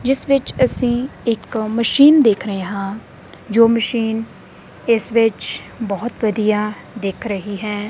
ਜਿਸ ਵਿੱਚ ਅਸੀਂ ਇੱਕ ਮਸ਼ੀਨ ਦੇਖ ਰਹੇ ਹਾਂ ਜੋ ਮਸ਼ੀਨ ਇਸ ਵਿੱਚ ਬਹੁਤ ਵਧੀਆ ਦਿਖ ਰਹੀ ਹੈ।